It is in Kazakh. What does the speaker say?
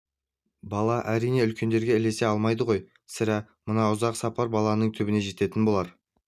бала әрине үлкендерге ілесе алмайды ғой сірә мына ұзақ сапар баланың түбіне жететін болар